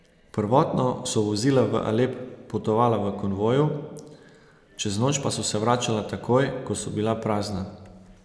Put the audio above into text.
Prvotno so vozila v Alep potovala v konvoju, čez noč pa so se vračala takoj, ko so bila prazna.